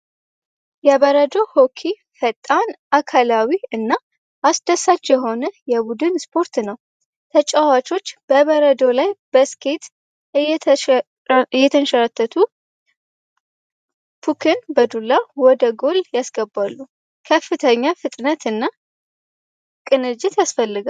የበረዶ ፈጣን አካላዊ እና አስደሳች የሆነ የቡድን ስፖርት ነው ተጫዋቾች በበረዶ ላይ በስኬት እየተሸረተቱን በዱላ ወደ ጎል ያስገባሉ ከፍተኛ ፍጥነትና ቅንጅት ያስፈልጋል